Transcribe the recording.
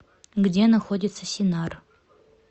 где находится синар